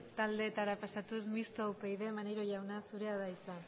taldeetara pasatuz mistoa upyd maneiro jauna zurea da hitza